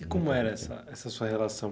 E como era essa essa sua relação?